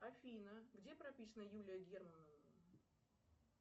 афина где прописана юлия германова